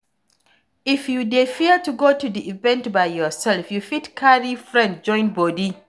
If you dey fear to go di event by yourself you fit carry friend join body